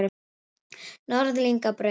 Norðlingabraut